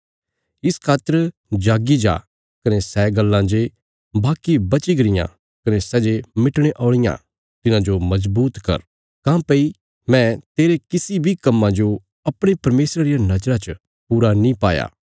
इस खातर जाग्गी जा कने सै गल्लां जे बाकी बची गरियां कने सै जे मिटणे औल़ियां तिन्हांजो मजबूत कर काँह्भई मैं तेरे किसी बी कम्मां जो अपणे परमेशरा रिया नजरा च पूरा नीं पाया